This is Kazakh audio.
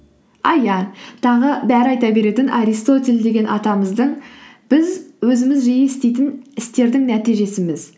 а иә тағы бәрі айта беретін аристотель деген атамыздың біз өзіміз жиі істейтін істердің нәтижесіміз